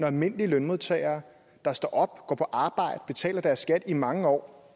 almindelige lønmodtagere der står op og går på arbejde og betaler deres skat i mange år